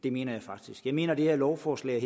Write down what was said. det mener jeg faktisk jeg mener at det her lovforslag